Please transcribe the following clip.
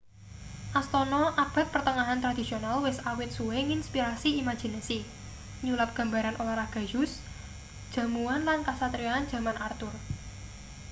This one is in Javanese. astana abad pertengahan tradisional wis awit suwe nginspirasi imajinasi nyulap gambaran olahraga joust jamuan lan kasatriyan jaman arthur